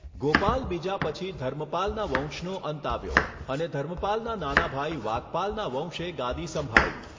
ગોપાલ બીજા પછી ધર્મપાલનાં વંશનો અંત આવ્યો અને ધર્મપાલનાં નાના ભાઈ વાકપાલનાં વંશે ગાદી સંભાળી.